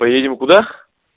поедем куда